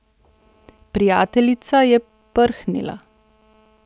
Prijateljica je prhnila.